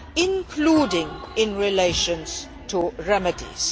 including in relation to remedies.